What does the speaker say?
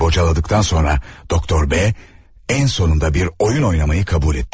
Uzun sürə bocaladıqdan sonra, Doktor B ən sonunda bir oyun oynamağı qəbul etdi.